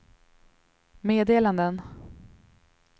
meddelanden